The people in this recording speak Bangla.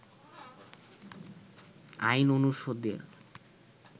আইন অনুষদের